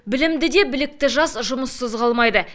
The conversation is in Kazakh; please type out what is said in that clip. білімді де білікті жас жұмыссыз қалмайды